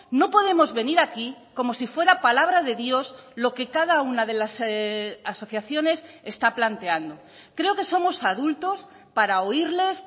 no podemos venir aquí como si fuera palabra de dios lo que cada una de las asociaciones está planteando creo que somos adultos para oírles